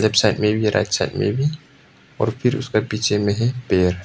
Left side में भी right side में भी और फिर उसके पीछे में है पेड़।